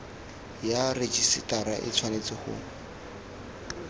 ya rejisetara e tshwanetse go